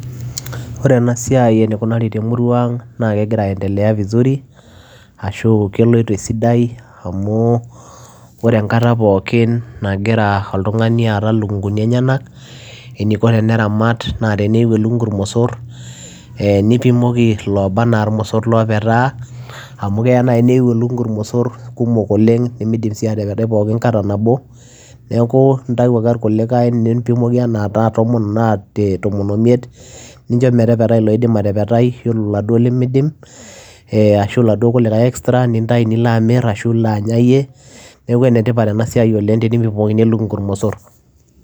Ore ena siai enikunari te murua ang' naake egira aendelea vizuri ashu keloito esidai amu ore enkata pookin nagira oltung'ani aata ilukung'uni enyenak eniko teneramat naa teneyiu elukung'u irmosor ee nipimoki looba naa imosor loopetaa amu keya nai neyiu elukung'u irmosor kumok oleng' nemiidim sii atepetai pookin kata nabo. Neeku intau ake irkulikai nimpimoki enaa tomon enaa tomon o imiet, nincho metepetai iloidim atepetai iyiolo laduo lemiidim ee ashu iladuo kulikai extra nintayu nilo amir ashu ilo anya iyei. Neeku ene tipat ena siai oleng' tenipimokini elukung'u irmosor.